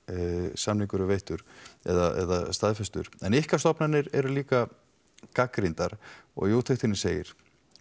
samningur er veittur eða staðfestur en ykkar stofnanir eru líka gagnrýndar í úttektinni segir